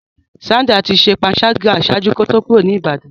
Sandra ti ṣe panṣaga ṣaaju ki o to kuro ni Ibadan.